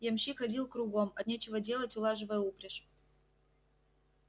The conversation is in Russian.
ямщик ходил кругом от нечего делать улаживая упряжь